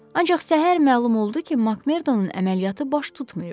Ancaq səhər məlum oldu ki, Makmerdonun əməliyyatı baş tutmayıb.